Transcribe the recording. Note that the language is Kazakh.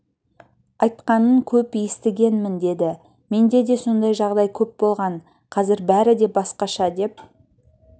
айтқанын көп естігенмін деді менде де сондай жағдай көп болған қазір бәрі де басқаша деп